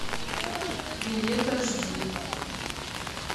билет аш ди